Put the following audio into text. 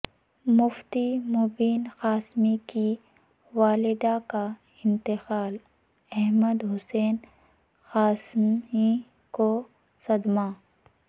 مفتی مبین قاسمی کی والدہ کا انتقال احمد حسن قاسمی کو صدمہ